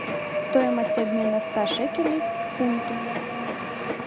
стоимость обмена ста шекелей к фунту